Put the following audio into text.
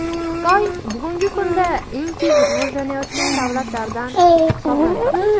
Xitoy bugungi kunda eng tez rivojlanayotgan davlatlardan hisoblanadi.